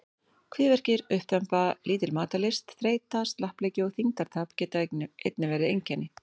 Kviðverkir, uppþemba, lítil matarlyst, þreyta, slappleiki og þyngdartap geta einnig verið einkenni.